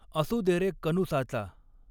असू दे रे कनुसाचा